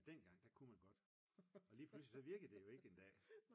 Men dengang der kunne man godt og lige pludselig så virkede det jo ikke en dag